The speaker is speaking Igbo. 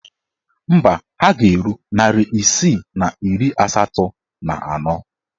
Mba, ha ga-eru narị isii na iri asatọ na anọ.